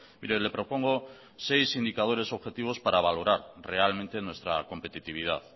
mire le propongo seis indicadores objetivos para valorar realmente nuestra competitividad